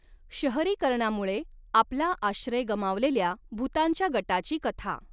शहरीकरणामुळे आपला आश्रय गमावलेल्या भुतांच्या गटाची कथा.